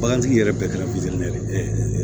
Bagantigi yɛrɛ bɛɛ kɛra